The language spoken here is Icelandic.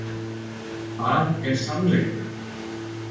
Hvað er sannleikur?